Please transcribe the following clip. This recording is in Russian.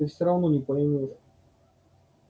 ты всё равно не поймёшь